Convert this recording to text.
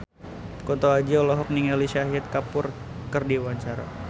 Kunto Aji olohok ningali Shahid Kapoor keur diwawancara